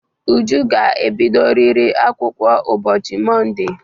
Uju ga-ebidoriri akwụkwọ ụbọchị Monde!